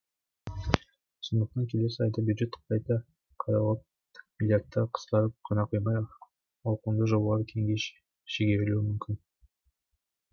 сондықтан келесі айда бюджет қайта қаралып миллиардттар қысқарып қана қоймай ауқымды жобалар кейінге шегерілуі мүмкін